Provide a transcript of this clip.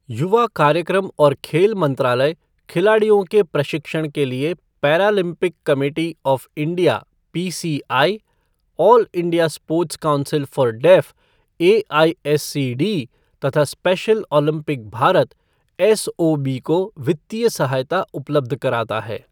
युवा कार्यक्रम और खेल मंत्रालय खिलाड़ियों के प्रशिक्षण के लिये Paralympic committee of India PCI, all India sports council for deaf AISCD तथा स्पेशल ओलंपिक भारत एसओबी को वित्तीय सहायता उपलब्ध कराता है।